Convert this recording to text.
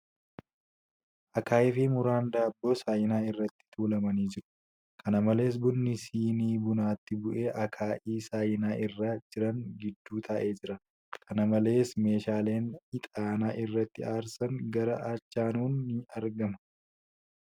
Akaa'ii fi muraan daabboo saayinaa irratti tuulamanii jiru. Kana malees ,bunni sinii bunaatti bu'ee akaa'ii saayinaa irra jiran jidduu taa'ee jira. Kana malees, meeshaan ixaana irratti aarsan gara achaanuun ni argama.